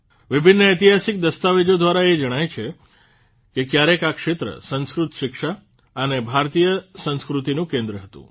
વિભિન્ન ઐતિહાસિક દસ્તાવેજો દ્વારા એ જાણ થાય છે કે ક્યારેક આ ક્ષેત્ર સંસ્કૃત શિક્ષા અને ભારતીય સંસ્કૃતિનું કેન્દ્ર હતું